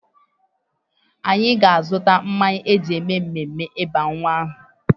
Anyị ga-azụta mmanya e ji eme mmemme ịba nwa aha.